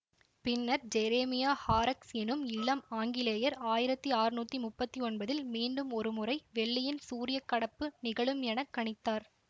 பின்னர் Jeremiah Horrocks எனும் இளம் ஆங்கிலேயர் ஆயிரத்தி ஆற்நூத்தி முப்பத்தி ஒன்பதில் மீண்டும் ஒரு முறை வெள்ளியின் சூரிய கடப்பு நிகழும் என கணித்தார்